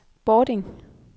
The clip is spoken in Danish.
Bording